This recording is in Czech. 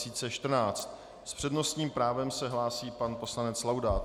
S přednostním právem se hlásí pan poslanec Laudát.